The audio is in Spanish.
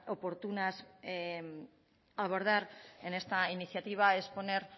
oportunas abordar en esta iniciativa es poner